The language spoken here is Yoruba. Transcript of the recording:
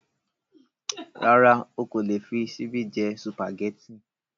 Rárá o kò lè fi ṣíbí jẹ́ Sùpàgẹ́tì